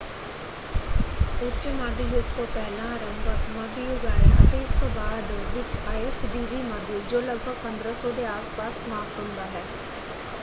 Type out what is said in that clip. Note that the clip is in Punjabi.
ਉੱਚ ਮੱਧ ਯੁੱਗ ਤੋਂ ਪਹਿਲਾਂ ਅਰੰਭਕ ਮੱਧ ਯੁੱਗ ਆਇਆ ਅਤੇ ਇਸ ਤੋਂ ਬਾਅਦ ਵਿੱਚ ਆਇਆ ਸਦੀਵੀ ਮੱਧ ਯੁੱਗ ਜੋ ਲਗਭਗ 1500 ਦੇ ਆਸ ਪਾਸ ਸਮਾਪਤ ਹੁੰਦਾ ਹੈ।